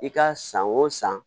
I ka san o san